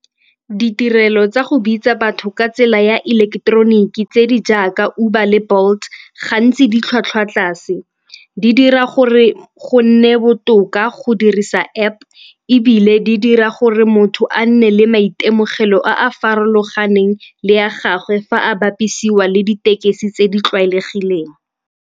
Ditirelo tsa go bitsa batho ka tsela ya ileketeroniki tse di jaaka Uber le Bolt gantsi ditlhwatlhwa tlase. Di dira gore go nne botoka go go dirisa App ebile di dira gore motho a nne le maitemogelo a a farologaneng le ya gagwe fa a bapisiwa le ditekesi tse di tlwaelegileng.